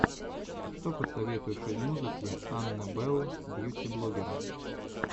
что посоветуешь из музыки анны белл бьюти блоггера